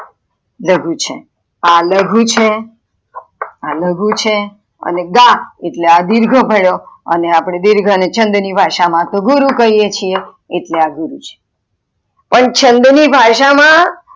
લઘુ છે, આ લઘુ છે, આ લઘુ છે, આ ગ એટલે દિર્ઘ ભાળ્યો અને અપડે દિર્ઘ ને, છંદ ની ભાષા માં તો ગુરુ કિયે છીએ એટલે આ ગુરુ છે પણ છંદ ની ભાષા માં